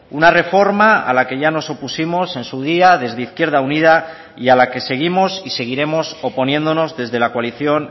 una reforma a la que ya nos opusimos en su día desde izquierda unida y a la que seguimos y seguiremos oponiéndonos desde la coalición